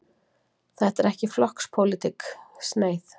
Þetta er ekki flokkspólitísk sneið.